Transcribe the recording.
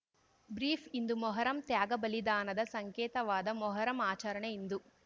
brief ಇಂದು ಮೊಹರಂ ತ್ಯಾಗ ಬಲಿದಾನದ ಸಂಕೇತವಾದ ಮೊಹರಂ ಆಚರಣೆ ಇಂದು